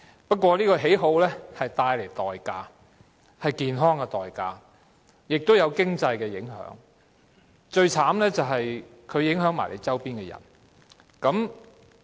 不過，這種喜好要付出代價，便是健康的代價，也會帶來經濟影響，而最糟糕的是會影響周邊的人。